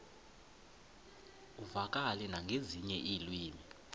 uvakale nangezinye iilwimi